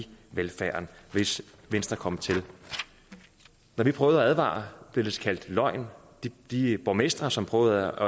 velfærden hvis venstre kom til når vi prøvede at advare blev det kaldt løgn de borgmestre som prøvede